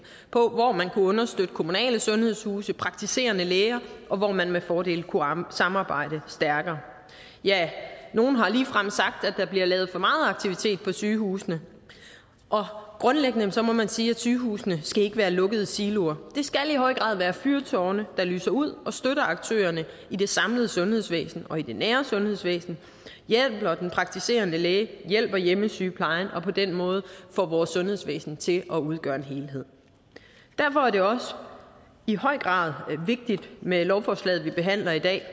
på hvor man kunne understøtte kommunale sundhedshuse praktiserende læger og hvor man med fordel kunne samarbejde stærkere ja nogle har ligefrem sagt at der bliver lavet for meget aktivitet på sygehusene og grundlæggende må man sige at sygehusene skal være lukkede siloer de skal i høj grad være fyrtårne der lyser ud og støtter aktørerne i det samlede sundhedsvæsen og i det nære sundhedsvæsen hjælper den praktiserende læge hjælper hjemmesygeplejen og på den måde får vores sundhedsvæsen til at udgøre en helhed derfor er det også i høj grad vigtigt med lovforslaget vi behandler i dag